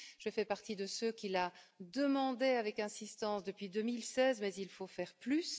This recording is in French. Je fais partie de ceux qui la demandaient avec insistance depuis 2016, mais il faut faire plus.